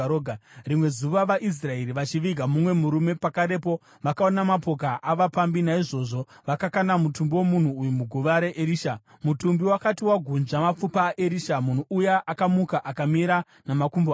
Rimwe zuva vaIsraeri vachiviga mumwe murume, pakarepo vakaona mapoka avapambi; naizvozvo vakakanda mutumbi womunhu uyu muguva raErisha. Mutumbi wakati wagunzva mapfupa aErisha, munhu uya akamuka akamira namakumbo ake.